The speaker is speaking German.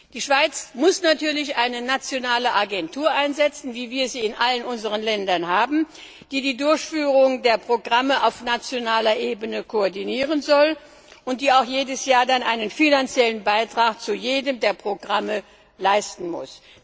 Die Schweiz muss eine nationale Agentur einsetzen, wie wir sie in allen unseren Ländern haben, die die Durchführung der Programme auf nationaler Ebene koordinieren soll und die auch jedes Jahr einen finanziellen Beitrag zu jedem der Programme leisten muss.